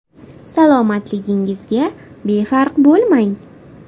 Salomatligingizga befarq bo‘lmang.